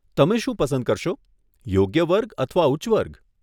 તમે શું પસંદ કરશો, યોગ્ય વર્ગ અથવા ઉચ્ચ વર્ગ?